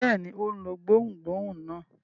Bẹ́ẹ̀ ni, ó lo gbohùngbohùn náà.